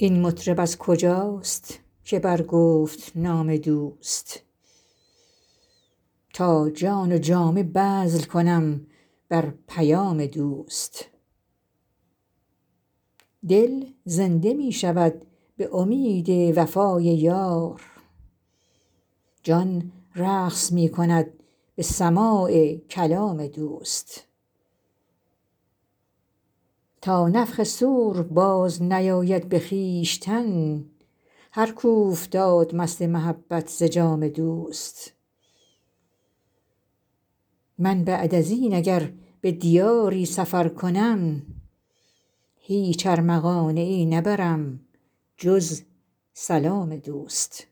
این مطرب از کجاست که برگفت نام دوست تا جان و جامه بذل کنم بر پیام دوست دل زنده می شود به امید وفای یار جان رقص می کند به سماع کلام دوست تا نفخ صور بازنیاید به خویشتن هر کاو فتاد مست محبت ز جام دوست من بعد از این اگر به دیاری سفر کنم هیچ ارمغانیی نبرم جز سلام دوست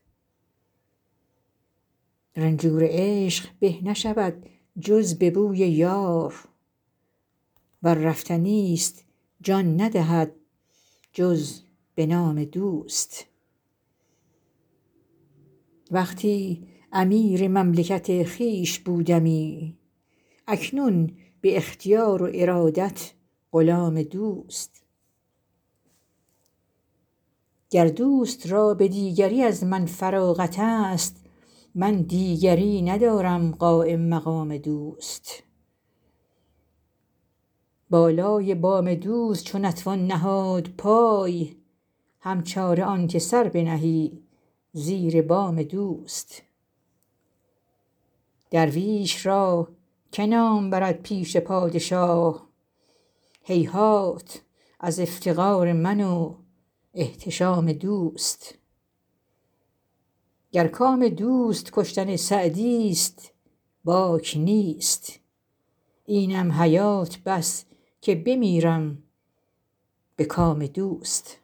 رنجور عشق به نشود جز به بوی یار ور رفتنی ست جان ندهد جز به نام دوست وقتی امیر مملکت خویش بودمی اکنون به اختیار و ارادت غلام دوست گر دوست را به دیگری از من فراغت ست من دیگری ندارم قایم مقام دوست بالای بام دوست چو نتوان نهاد پای هم چاره آن که سر بنهی زیر بام دوست درویش را که نام برد پیش پادشاه هیهات از افتقار من و احتشام دوست گر کام دوست کشتن سعدی ست باک نیست اینم حیات بس که بمیرم به کام دوست